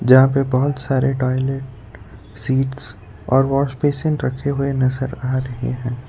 जहां पे बहोत सारे टॉयलेट सीट्स और वॉश बेसिन रखे हुए नजर आ रहे हैं।